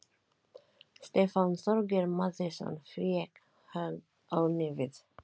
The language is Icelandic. Stefán Þorgeir Matthíasson fékk högg á nefið.